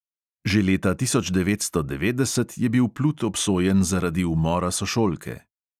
Že leta tisoč devetsto devetdeset je bil plut obsojen zaradi umora sošolke.